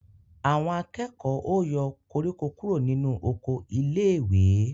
Àwọn akẹ́kọ̀ọ́ ó yọ koríko kúrò nínú oko iléèwé